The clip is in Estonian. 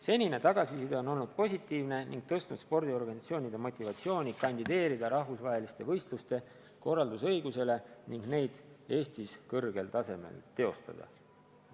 Senine tagasiside on olnud positiivne ning tõstnud spordiorganisatsioonide motivatsiooni kandideerida rahvusvaheliste võistluste korraldamise õigusele ning neid Eestis kõrgel tasemel teostada.